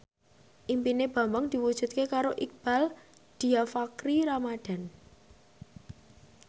impine Bambang diwujudke karo Iqbaal Dhiafakhri Ramadhan